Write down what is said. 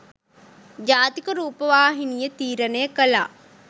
ජාතික රූපවාහිනිය තීරණය කළා.